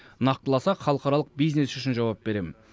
нақтыласақ халықаралық бизнес үшін жауап беремін